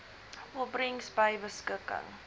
opbrengs by beskikking